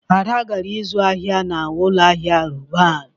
Ada gara ịzụ ahịa na ụlọ ahịa Roban.